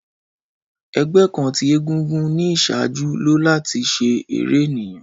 Ẹgbẹ kan ti egúngún ni iṣaaju lo lati ṣe ere eniyan.